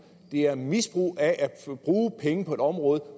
at det er misbrug af penge på et område